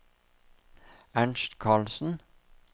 Ernst Carlsen